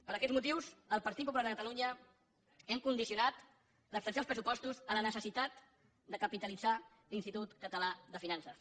per aquests motius el partit popular de catalunya hem condicionat l’abstenció als pressupostos a la necessitat de capitalitzar l’institut català de finances